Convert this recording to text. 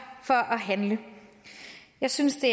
for at handle jeg synes det